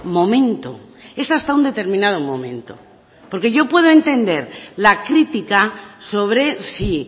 momento es hasta un determinado momento porque yo puedo entender la crítica sobre si